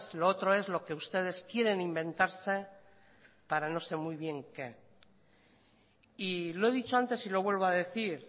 lo otro es lo que ustedes quieren inventarse para no sé muy bien qué y lo he dicho antes y lo vuelvo a decir